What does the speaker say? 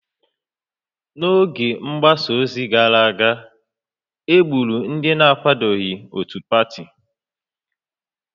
N'oge mgbasa ozi gara aga, e gburu ndị na-akwadoghị otu pati